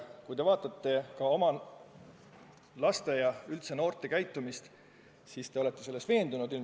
Kui te vaatate ka oma laste ja üldse noorte käitumist, siis te olete selles ilmselt veendunud.